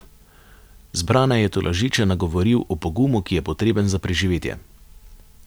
Zbrane je tolažeče nagovoril o pogumu, ki je potreben za preživetje.